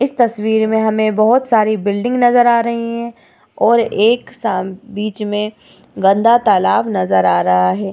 इस तस्वीर में हमें बोहोत सारी बिल्डिंग नजर आ रही हैं और एक सामने बीच में गंदा तालाब नजर आ रहा है।